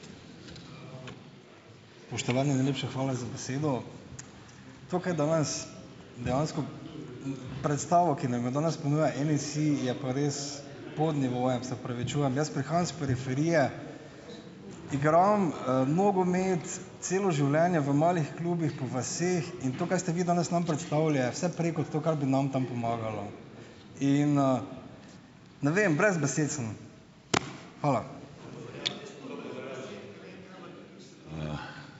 Spoštovani! Najlepša hvala za besedo. To, kaj danes dejansko. Predstavo, ki nam jo danes ponuja NSi, je pa res pod nivojem, se opravičujem. Jaz prihajam s periferije, igram, nogomet celo življenje v malih klubih po vaseh in to, kaj ste vi danes nam predstavili, je vse prej kot to, kar bi nam tam pomagalo. In, ne vem, brez besed sem. Hvala.